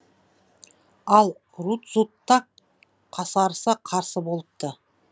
ал рудзутак қасарыса қарсы болыпты